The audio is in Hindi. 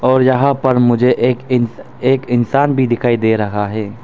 और यहां पर मुझे एक इन एक इंसान भी दिखाई दे रहा है।